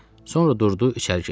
Sonra durdu içəri keçdi.